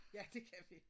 Ja det kan vi